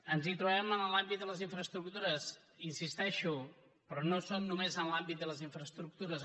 ens hi trobarem en l’àmbit de les infraestructures hi insisteixo però no són només en l’àmbit de les infraestructures